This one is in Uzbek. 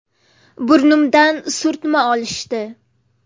Burnimdan surtma olishdi.